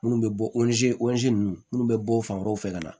Minnu bɛ bɔ ninnu minnu bɛ bɔ fan wɛrɛw fɛ ka na